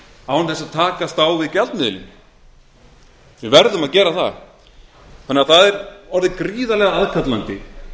án þess að takast á við gjaldmiðilinn við verðum að gera það það er því orðið gríðarlega aðkallandi